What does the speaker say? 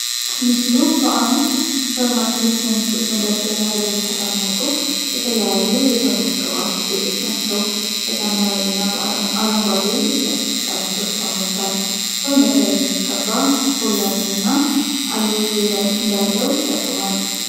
ምስሉ በአንድ ሱፐርማርኬት ወይም ሱቅ መደርደሪያ ላይ የተቀመጡ የተለያዩ የሰውነት ቅባት ውጤቶችን ናቸው። በሰማያዊ እና አረንጓዴ የፕላስቲክ ጠርሙሶች ተሞልቷል። ሰውነት ላይ የሚቀባ ኮላጅን እና አልዎ ቬራ እንዳለው ይጠቁማል።